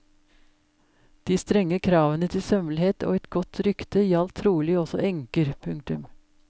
De strenge kravene til sømmelighet og et godt rykte gjaldt trolig også enker. punktum